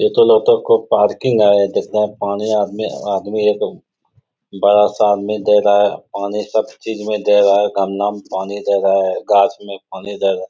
ये तो लगता है कोई पार्किंग है। देखते हैं पानी आदमी आदमी एक बड़ा सा आदमी दे रहा है। पानी सब चीज में दे रहा है। गमला में पानी दे रहा है। गाछ में पानी दे रहा --